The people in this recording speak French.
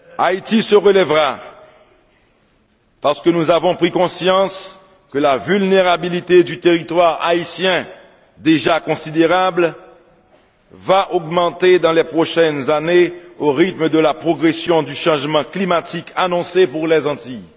Haïti se relèvera, parce que nous avons pris conscience que la vulnérabilité du territoire haïtien, déjà considérable, va augmenter dans les prochaines années au rythme de la progression du changement climatique annoncé pour les Antilles.